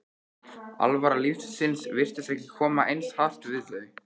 alvara lífsins virtist ekki koma eins hart við þau.